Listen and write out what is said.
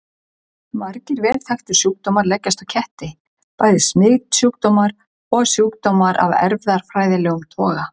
Margir vel þekktir sjúkdómar leggjast á ketti, bæði smitsjúkdómar og sjúkdómar af erfðafræðilegum toga.